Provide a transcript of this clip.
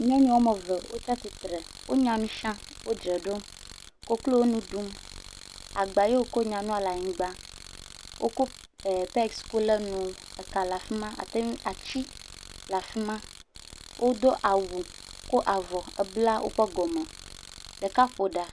Nyɔnu wɔme ve wotsia tsitre, wonya nu sia, wodze ɖom. Koklo nu ɖum. Agba yo ko nyanua le anyigba woko ee pegi ko le nua. Eka le afi ma. Ate ŋu. Atsi le afi ma. Wodo awu ko avɔ ebla woƒe gɔme. Ɖeka ƒo ɖa.